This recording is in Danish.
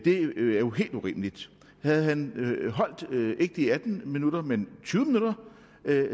er jo helt urimeligt havde han holdt ikke de atten minutter men tyve minutter